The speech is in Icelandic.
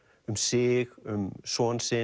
um sig um son sinn